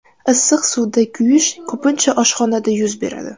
Issiq suvda kuyish ko‘pincha oshxonada yuz beradi.